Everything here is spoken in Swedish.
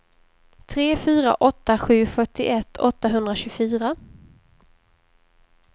tre fyra åtta sju fyrtioett åttahundratjugofyra